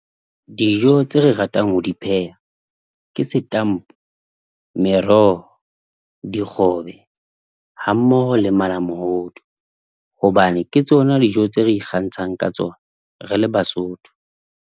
Dijo tse re ratang ho di pheha. Ke setampo, meroho, dikgobe, hammoho le malamohodu. Hobane ke tsona dijo tse re ikgantshang ka tsona, re le Basotho.